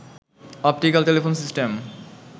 optical telephone system